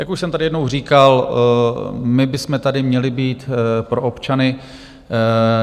Jak už jsem tady jednou říkal, my bychom tady měli být pro občany.